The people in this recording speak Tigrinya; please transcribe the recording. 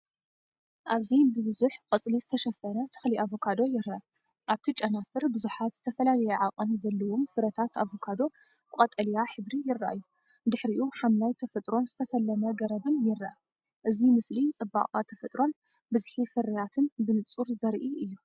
ኣብዚ ብብዙሕ ቆጽሊ ዝተሸፈነ ተክሊ ኣቮካዶ ይርአ። ኣብቲ ጨናፍር፡ ብዙሓት ዝተፈላለየ ዓቐን ዘለዎም ፍረታት ኣቮካዶ ብቀጠልያ ሕብሪ ይረኣዩ። ድሕሪኡ፡ ሓምላይ ተፈጥሮን ዝተሰለመ ገረብን ይረአ። እዚ ምስሊ ጽባቐ ተፈጥሮን ብዝሒ ፍርያትን ብንጹር ዘርኢ እዩ።